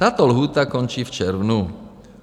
Tato lhůta končí v červnu.